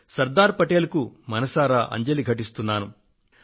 శ్రీ సర్దార్ పటేల్ కు మనసారా అంజలి ఘటిస్తున్నాను